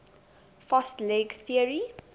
fast leg theory